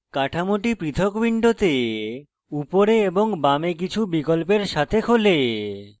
কাঠামোটি পৃথক window উপরে এবং বামে কিছু নিয়ন্ত্রণের সাথে খোলে